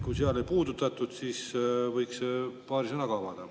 Kui seal seda ei puudutatud, siis võiks paari sõnaga avada.